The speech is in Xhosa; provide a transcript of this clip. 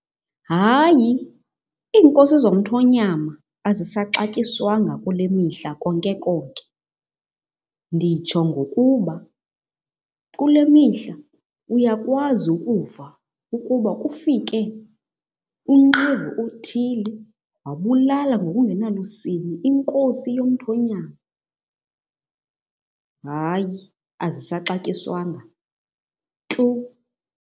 Hayi iinkosi zomthonyama azisaxatyiswanga kule mihla konke konke. Nditsho ngokuba kule mihla uyakwazi ukuva ukuba kufike unqevu othile wabulala ngokungenalusini inkosi yomthonyama. Hayi azisaxatyiswanga tu.